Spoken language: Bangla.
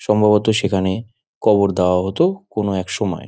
সম্ভবত সেখানে কবর দেয়া হতো কোনো এক সময় |